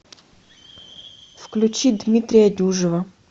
включи дмитрия дюжева